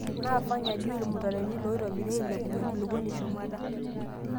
naa Fanya juu irmutaroni loitobiri ailepunye enkulupuoni shumata